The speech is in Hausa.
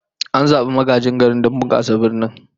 An zabi magajin garin don bunkasa birnin